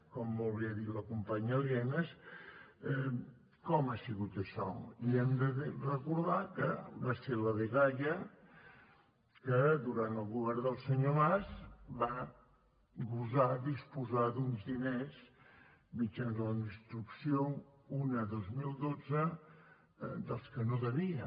com molt bé ha dit la companya lienas com ha sigut això i hem de recordar que va ser la dgaia que durant el govern del senyor mas va gosar disposar d’uns diners mitjançant la instrucció un dos mil dotze dels quals no devia